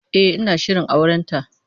E, ina shirin aurenta.